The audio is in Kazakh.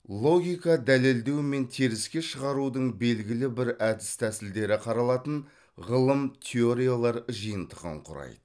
логика дәлелдеу мен теріске шығарудың белгілі бір әдіс тәсілдері қаралатын ғылым теориялар жиынтығын құрайды